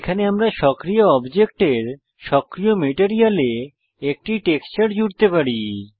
এখানে আমরা সক্রিয় অবজেক্টের সক্রিয় মেটেরিয়ালে একটি টেক্সচার জুড়তে পারি